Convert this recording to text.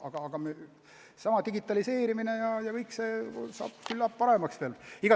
Aga seesama digitaliseerimine ja kõik muu küllap teeb asja paremaks.